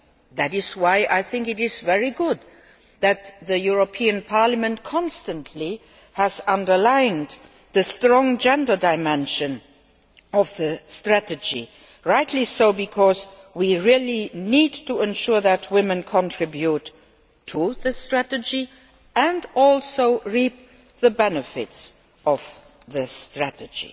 That is why I think it is very good that the European Parliament has constantly underlined the strong gender dimension of the strategy rightly so because we really need to ensure that women contribute to the strategy and also reap the benefits of the strategy.